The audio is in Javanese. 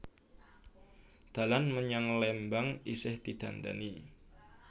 Dalan menyang Lembang isih didandani